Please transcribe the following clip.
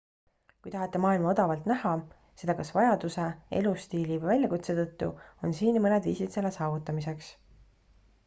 kui tahate maailma odavalt näha seda kas vajaduse elustiili või väljakutse tõttu on siin mõned viisid selle saavutamiseks